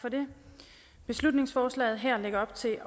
for det beslutningsforslaget her lægger op til